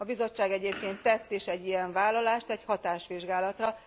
A Bizottság egyébként tett is egy ilyen vállalást egy hatásvizsgálatra.